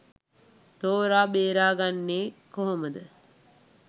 තෝර බේරගන්නෙ කොහොමද?